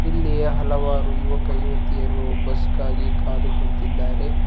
ಇಲ್ಲಿ ಹಲವಾರು ಯುವಕ ಯುವತಿಯರು ಬಸ್ ಗಾಗಿ ಕಾದು ಕುಂತಿದ್ದಾರೆ.